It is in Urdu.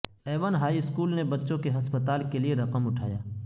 ایون ہائی اسکول نے بچوں کے ہسپتال کے لئے رقم اٹھایا